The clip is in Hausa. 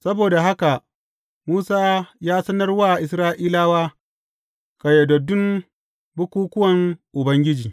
Saboda haka Musa ya sanar wa Isra’ilawa ƙayyadaddun bukukkuwan Ubangiji.